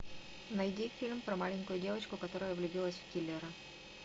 найди фильм про маленькую девочку которая влюбилась в киллера